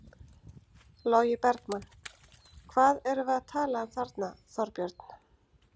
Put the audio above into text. Logi Bergmann: Hvað erum við að tala um þarna Þorbjörn?